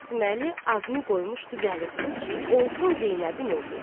Qasıməli adını qoymuşdu Vəliqulu ki, olsun Zeynəbin oğlu.